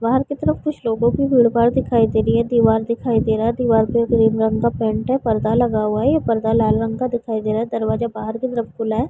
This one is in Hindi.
बाहर की तरफ कुछ लोगो की भीड़-भाड़ दिखाई दे रहे है दीवाल दिखाई दे रहा है दीवाल एक रेड रंग का पैंट है पर्दा लगा हुआ है पर्दा लाल रंग का दिखाई दे रहा है दरवाजा बाहर की तरफ खुला है ।